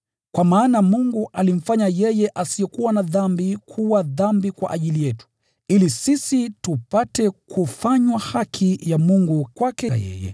Kwa maana Mungu alimfanya yeye asiyekuwa na dhambi kuwa dhambi kwa ajili yetu, ili sisi tupate kufanywa haki ya Mungu kwake yeye.